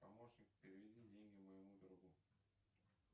помощник переведи деньги моему другу